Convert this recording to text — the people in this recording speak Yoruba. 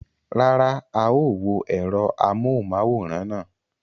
Rárá, a ó wo ẹ̀rọ amóhùnmáwòrán náà.